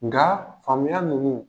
Nga faamuya ninnu